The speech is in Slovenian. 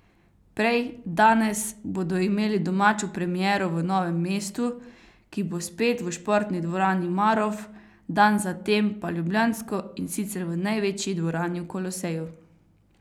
Prej, danes, bodo imeli domačo premiero v Novem mestu, ki bo spet v športni dvorani Marof, dan zatem pa ljubljansko, in sicer v največji dvorani v Koloseju.